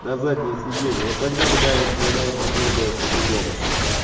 на заднее сиденье вот тогда бы на да наверное было бы по-другому всё